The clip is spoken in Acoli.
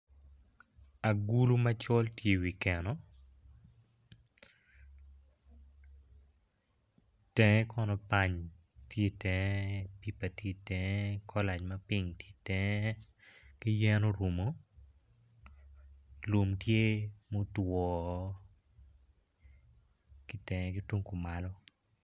Agulu macol tye iwi keno itengo kono pany tye itenge pipa tye itenge kolac mapink tye itenge ki yen orumu lum tye mutwo ki tenge ki tung kumalo